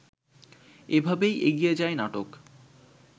এভাবেই এগিয়ে যায় নাটক